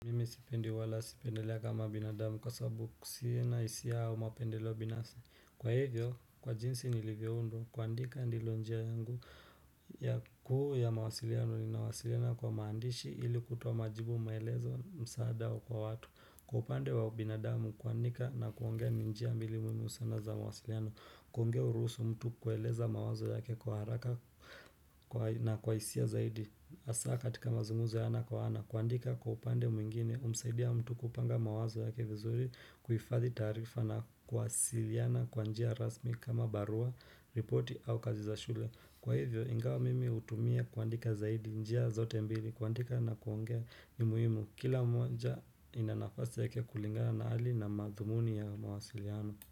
Mimi sipendi wala sipendelea kama binadamu kwa sababu sina hisia au mapendeleo binafsi Kwa hivyo, kwa jinsi nilivyoundwa, kuandika ndilo njia yangu ya kuu ya mawasiliano ninawasiliana kwa maandishi ili kutoa majibu maelezo msaada kwa watu. Kwa upande wa ubinadamu, kuandika na kuongea ni njia mbili muhimu sana za mawasiliano. Kuongea huruhusu mtu kueleza mawazo yake kwa haraka na kwa hisia zaidi. Hasa katika mazungmzo ya ana kwa ana, kuandika kwa upande mwingine, humsaidia mtu kupanga mawazo yake vizuri kuhifadhi taarifa na kuwasiliana kwa njia rasmi kama barua, ripoti au kazi za shule. Kwa hivyo, ingawa mimi hutumia kuandika zaidi njia zote mbili, kuandika na kuongea ni muhimu. Kila moja ina nafasi yake kulingana na hali na madhumuni ya mawasiliano.